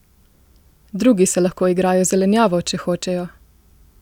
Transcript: Drugi se lahko igrajo z zelenjavo, če hočejo!